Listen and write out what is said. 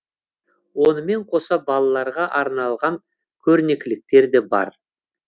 онымен қоса балаларға арналған көрнекіліктер де бар